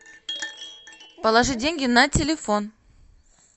положи деньги на телефон